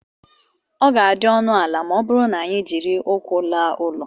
ọ ga-adị ọnụ ala ma ọ bụrụ na anyị jiri ụkwụ laa ụlọ